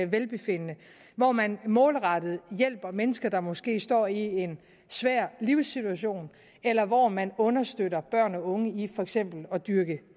velbefindende hvor man målrettet hjælper mennesker der måske står i en svær livssituation eller hvor man understøtter børn og unge i for eksempel at dyrke